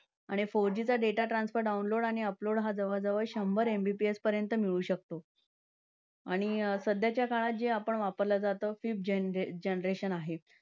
आणि four G चा data transfer download आणि upload हा जवळजवळ शंभर MBPS पर्यंत मिळू शकतो. आणि सध्याच्या काळात जे आपण वापरल्या जात fifth genr~ generation आहे.